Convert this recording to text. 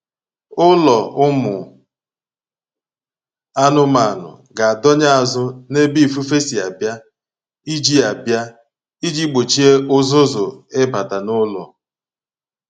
Ụlọ ụmụ anụmanụ ga-adọnye azụ n'ebe ifufe si abịa iji abịa iji gbochie ụzụzụ ịbata n'ụlọ